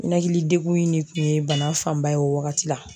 Ninakilidegun in de kun ye bana fanba ye o wagati la